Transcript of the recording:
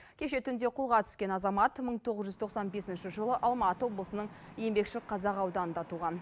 кеше түнде қолға түскен азамат мың тоғыз жүз тоқсан бесінші жылы алматы облысының еңбекшіқазақ ауданында туған